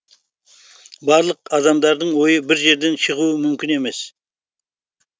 барлық адамдардың ойы бір жерден шығуы мүмкін емес